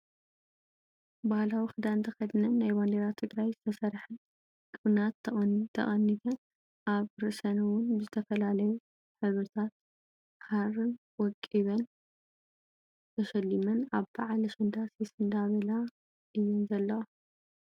ባህላዊ ክዳን ተከዲነን ናይ ባንዴራ ትግራይ ዝተሰርሐ ቅናት ተቀኒተን ኣብ ርእሰን እውን ብዝተፈላለዩ ሕብሪታት ዘለዎም ሃሪታት ተሸሊም ኣብ በዓል ኣሸንዳ ሲስ እንዳበላ እየን ዘለዋ።